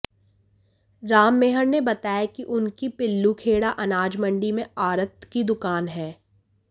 राममेहर ने बताया कि उनकी पील्लूखेड़ा अनाज मंडी में आढ़त की दुकान है